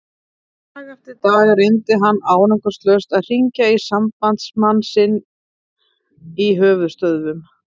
Dag eftir dag reyndi hann árangurslaust að hringja í sambandsmann sinn í höfuðstöðvum